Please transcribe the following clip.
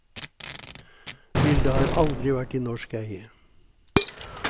Bildet har aldri vært i norsk eie.